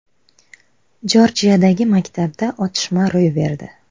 Jorjiyadagi maktabda otishma ro‘y berdi.